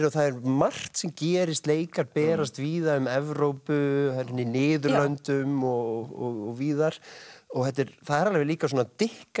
og það er margt sem gerast leikar berast víða um Evrópu Niðurlöndum og víðar það er alveg líka svona